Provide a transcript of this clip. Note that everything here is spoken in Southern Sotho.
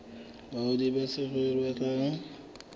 badudi ba saruri ba batlang